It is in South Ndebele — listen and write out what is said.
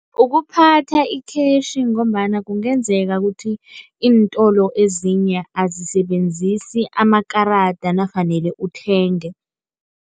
Ukuphatha i-cash ngombana kungenzeka ukuthi iintolo ezinye azisebenzisi amakarada nafanele uthenge.